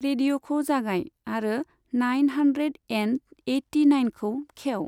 रेडिअखौ जागाय आरो nine hundred and eighty नाइनखौ खेव।